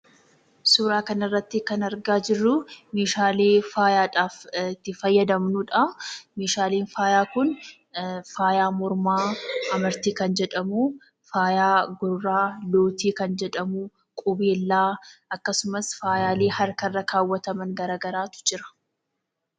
Suuraa kanarratti kan argaa jirru, meeshaalee faayaadhaaf itti fayyadamnudha. Meeshaalee faayaa kun faaya mormaa amartii kan jedhamu, faaya gurraa lootii kan jedhamu qubeellaa akkasumas faayaalee harkarra kaawwataman garagaraatu jira.